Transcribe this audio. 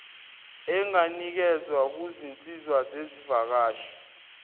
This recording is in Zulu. enganikezwa kuzinsiza zezivakashi